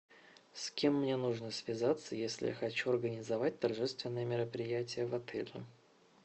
с кем мне нужно связаться если хочу организовать торжественное мероприятие в отеле